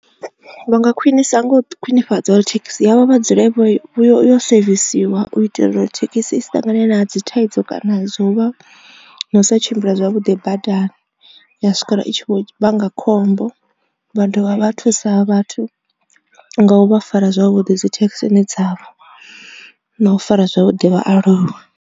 Vha nga khwinisa ngo khwinifhadza uri thekhisi yavho vha dzule vho i yo sevisiwa u itela uri thekhisi i si ṱangane na dzi thaidzo kana zwo u vha na u sa tshimbila zwavhuḓi badani ya swikela I tshi vho vhanga khombo vha dovha vha thusa vhathu nga u vha fara zwavhuḓi dzi thekhisini dzavho na u fara zwavhuḓi vhaaluwa.